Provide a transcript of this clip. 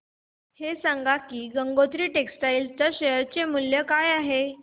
हे सांगा की गंगोत्री टेक्स्टाइल च्या शेअर चे मूल्य काय आहे